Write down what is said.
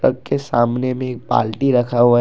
Truck के सामने भी एक बाल्टी रखा हुआ है।